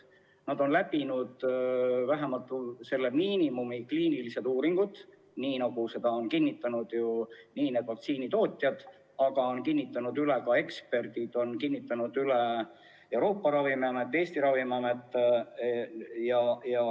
Aga nad on läbinud vähemalt minimaalsed nõutavad kliinilised uuringud, nagu on kinnitanud vaktsiinitootjad ja üle kinnitanud ka eksperdid, Euroopa Ravimiamet, Eesti Ravimiamet.